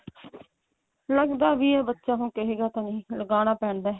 ਲੱਗਦਾ ਹੀ ਹੈ ਬੱਚਾ ਹੁਣ ਕਹੇਗਾ ਤਾਂ ਨਹੀਂ ਲਗਾਉਣਾ ਪੈਂਦਾ